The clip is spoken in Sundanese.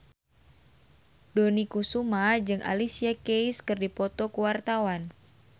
Dony Kesuma jeung Alicia Keys keur dipoto ku wartawan